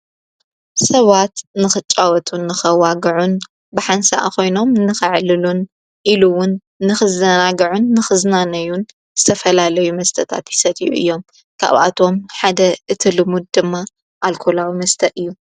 ሰዋት ንኽጫወቱን ንኸዋግዑን ብሓንሣኣኾይኖም ንኽዕልሉን ኢሉውን ንኽዘናግዑን ንኽዝናነዩን ዝተፈላለይ መስተታትይሰትኡ እዮም ካብኣቶም ሓደ እትልሙድ ድማ ኣልኮላዊ መስተ እዩ።